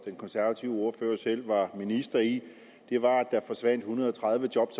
den konservative ordfører selv var minister i var at der forsvandt en hundrede og tredive job